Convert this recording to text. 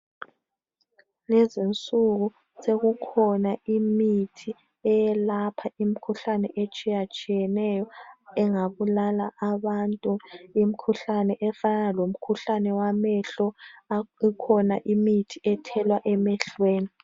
kulezinsuku sekukhona imithi eyelapha imikhuhlane etshiyatshiyeneyo engabulala abantu imikhuhlane efanana lemikhuhlane yamehlo ikhona imithi ethelwa emehlweni